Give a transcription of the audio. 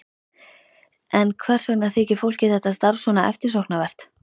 En hvers vegna þykir fólki þetta starf svona eftirsóknarvert?